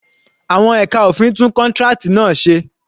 Àwọn ẹka òfin tún contract náà se